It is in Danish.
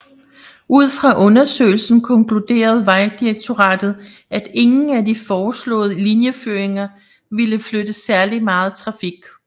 Ud fra undersøgelsen konkluderet Vejdirektoratet at ingen af de foreslået linjeføringer ville flytte særligt meget trafik